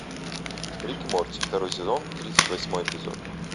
рик и морти второй сезон тридцать восьмой эпизод